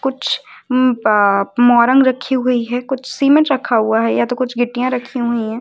कुछ अ मोरंग रखी हुई है कुछ सीमेंट रखा हुआ है या तो कुछ गिट्टियां रखी हुई हैं।